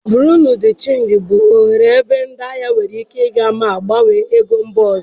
Buro de chenji bụ ohere ebe ndị ahịa nwere ike ịga ma gbanwee ego mba ọzọ.